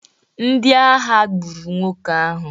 Ndị agha gburu nwoke ahụ